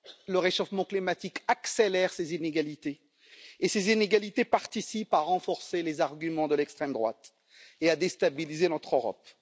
Le réchauffement climatique accélère ces inégalités et celles ci participent à renforcer les arguments de l'extrême droite et à déstabiliser notre Europe.